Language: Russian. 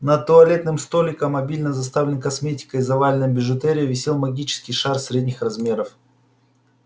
над туалетным столиком обильно заставленный косметикой и заваленным бижутерией висел магический шар средних размеров